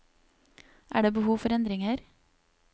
Er det behov for endringer?